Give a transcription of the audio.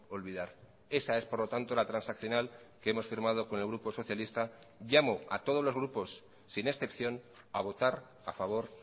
olvidar esa es por lo tanto la transaccional que hemos firmado con el grupo socialista llamo a todos los grupos sin excepción a votar a favor